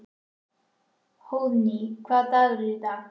Hróðný, hvaða dagur er í dag?